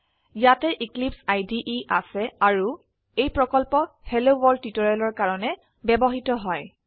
ইয়াতে এক্লিপছে ইদে আছে আৰু এই প্ৰকল্প হেলোৱৰ্ল্ড টিউটোৰিয়েলৰ কাৰনে ব্যবহৃত হয়